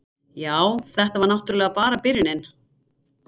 Já, þetta var náttúrlega bara byrjunin.